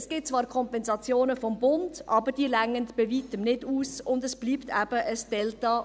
Es gibt zwar Kompensationen vom Bund, aber diese reichen bei Weitem nicht aus und unter dem Strich bleibt eben ein Delta.